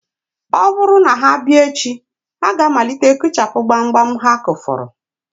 Ọ bụrụ na ha bịa echi, ha ga-amalite kụchapụ gbamgbam ha kụfọrọ